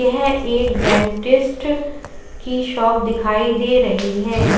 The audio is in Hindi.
यह एक डेंटिस्ट की शॉप दिखाई दे रही है।